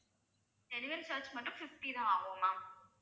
delivery charge மட்டும் fifty தான் ஆகும் ma'am